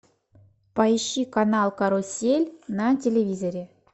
поищи канал карусель на телевизоре